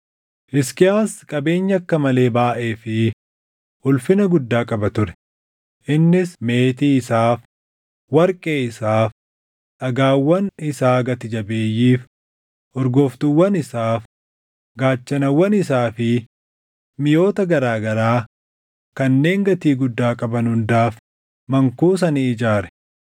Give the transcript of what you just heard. Hisqiyaas qabeenya akka malee baayʼee fi ulfina guddaa qaba ture; innis meetii isaaf, warqee isaaf, dhagaawwan isaa gati jabeeyyiif, urgooftuuwwan isaaf, gaachanawwan isaa fi miʼoota garaa garaa kanneen gatii guddaa qaban hundaaf mankuusa ni ijaare.